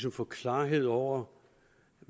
at få klarhed over